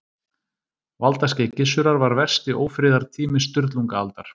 Valdaskeið Gissurar var versti ófriðartími Sturlungaaldar.